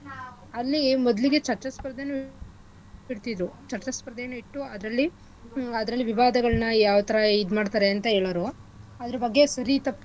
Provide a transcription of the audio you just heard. ಅಲ್ಲಿ ಮೊದ್ಲಿಗೆ ಚರ್ಚಾಸ್ಪರ್ಧೆನೂ ಇಡ್ತಿದ್ರು ಚರ್ಚಾ ಸ್ಪರ್ಧೆ ಇಟ್ಟು ಅದ್ರಲ್ಲಿ ಹ್ಮ್ ಅದ್ರಲ್ಲಿ ವಿವಾದಗಳ್ನ ಯಾವ್ಥರಾ ಇದ್ಮಾಡ್ತರೆ ಅಂತ ಹೇಳೋರು. ಅದ್ರ ಬಗ್ಗೆ ಸರಿ ತಪ್ಪು.